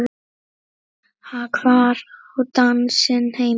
Hvar á dansinn heima?